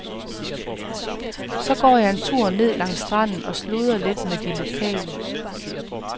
Så går jeg en tur ned langs stranden og sludrer lidt med de lokale.